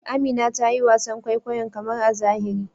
Amina ta yi wasan kwaikwayon karmar a zahiri.